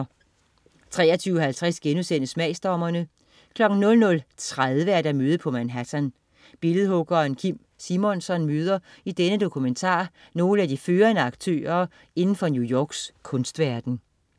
23.50 Smagsdommerne* 00.30 Møde på Manhattan. Billedhuggeren Kim Simonsson møder i denne dokumentar nogle af de førende aktører inden for New Yorks kunstverden